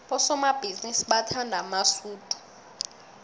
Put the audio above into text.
abosomabhizinisi bathanda amasudu